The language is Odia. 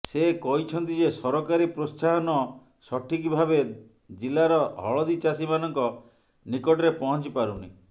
ସେ କହିଛନ୍ତି ଯେ ସରକାରୀ ପ୍ରୋତ୍ସାହନ ସଠିକ୍ ଭାବେ ଜିଲ୍ଲାର ହଳଦୀ ଚାଷୀମାନଙ୍କ ନିକଟରେ ପହଞ୍ଚି ପାରୁନି